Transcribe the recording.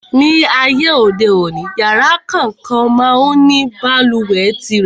Ní ayé òde òní, yàrá kòókan má ń ní balùwẹ̀ tirẹ̀.